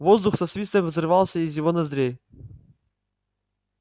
воздух со свистом вырывался из его ноздрей